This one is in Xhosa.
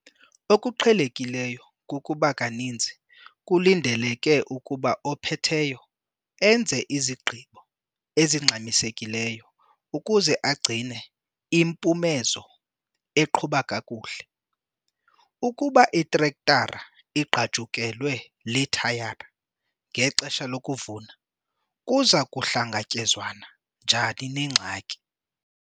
Okuqhelekileyo kukuba kaninzi kulindeleke ukuba ophetheyo enze izigqibo ezingxamisekileyo ukuze agcine impumezo iqhuba kakuhle. Ukuba itrektara igqajukelwe lithayara ngexesha lokuvuna, kuza kuhlangatyezwana njani nengxaki?